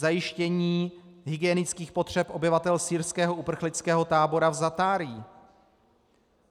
Zajištění hygienických potřeb obyvatel syrského uprchlického tábora v Zatárí.